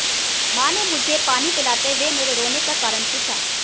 माँ ने मुझे पानी पिलाते हुए मेरे रोने का कारण पूछा